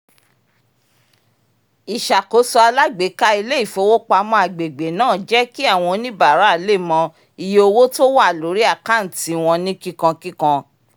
ìṣàkóso alágbèéká ilé-ifowopamọ́ agbègbè náà jẹ́ kí àwọn oníbàárà lè mọ iye owó tó wà lórí àkántì wọn ní kíkánkíkán